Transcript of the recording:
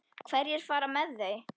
Hverjir fara með þau?